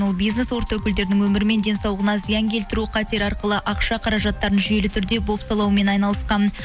ол бизнес орта өкілдерінің өмірі мен денсаулығына зиян келтіру қатері арқылы ақша қаражаттарын жүйелі түрде бопсалаумен айналысқан